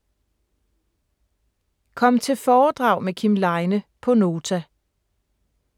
Kom til foredrag med Kim Leine på Nota